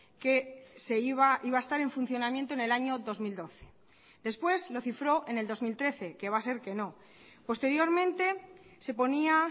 que se iba iba a estar en funcionamiento en el año dos mil doce después lo cifró en el dos mil trece que va a ser que no posteriormente se ponía